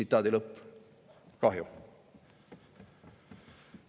" Kahju!